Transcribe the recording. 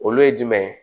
Olu ye jumɛn ye